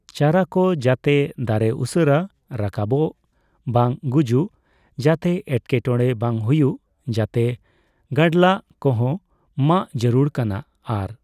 ᱪᱟᱨᱟ ᱠᱚ ᱡᱟᱛᱮ ᱫᱟᱨᱮ ᱩᱥᱟᱹᱨᱟ ᱨᱟᱠᱟᱵᱚᱜ ᱵᱟᱝ ᱜᱩᱡᱩᱜ ᱡᱟᱛᱮ ᱮᱴᱠᱮᱴᱚᱲᱮ ᱵᱟᱝ ᱦᱩᱭᱩᱜ ᱡᱟᱛᱮ ᱜᱟᱰᱞᱟᱜ ᱠᱚᱸᱦᱚ ᱢᱟᱜ ᱡᱟᱹᱨᱩᱲ ᱠᱟᱱᱟ ᱟᱨ